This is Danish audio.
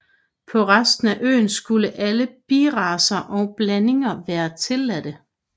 På resten af øen skulle alle biracer og blandinger være tilladte